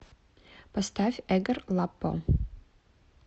поставь эгор лаппо